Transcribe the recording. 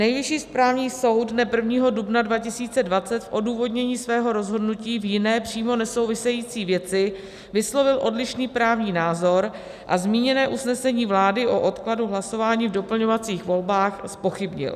Nejvyšší správní soud dne 1. dubna 2020 v odůvodnění svého rozhodnutí v jiné, přímo nesouvisející věci vyslovil odlišný právní názor a zmíněné usnesení vlády o odkladu hlasování v doplňovacích volbách zpochybnil.